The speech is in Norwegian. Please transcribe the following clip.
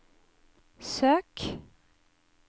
søk